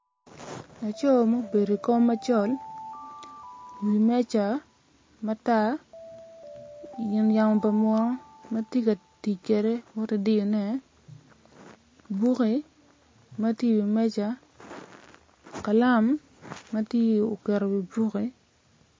Laco ma obedo i wi kom macol i wi meja gin yamo pa muno tye ka tic kwede woto ki diyone bukke ma tye i wi meja kalam ma tye oketo i wi buke.